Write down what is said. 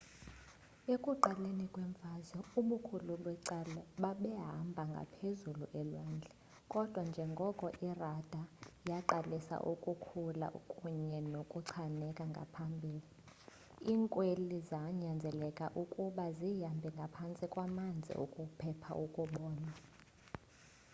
ekuqaleni kwemfazwe ubukhulu becala babehamba ngaphezulu elwandle kodwa njengoko irada yaqalisa ukukhula kunye nokuchaneka ngakumbi iinkwili zanyanzeleka ukuba zihambe ngaphantsi kwamanzi ukuphepha ukubonwa